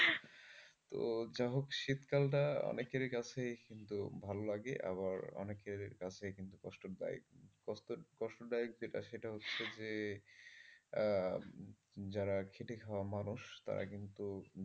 তো যা হোক শীতকালটা অনেকেরই কাছে কিন্তু ভালো লাগে। আবার অনেকের কাছে কিন্তু কষ্টদায়ক কষ্ট কষ্টদায়ক যেটা সেটা হচ্ছে যে যারা খেটে খাওয়া মানুষ তারা কিন্তু,